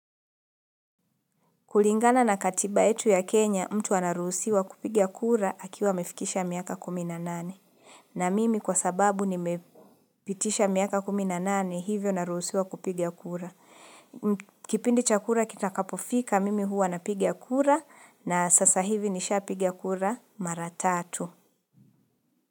Kulingana na katiba yetu ya Kenya mtu anaruhusiwa kupigia kura akiwa amefikisha miaka kumi na nane. Na mimi kwa sababu nimepitisha miaka kumi na nane hivyo naruhusiwa kupigia kura. Kipindi cha kura kitakapofika mimi huwa napiga kura, na sasa hivi nishaa piga kura mara tatu.